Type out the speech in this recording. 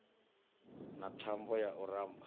na thambo ya u ramba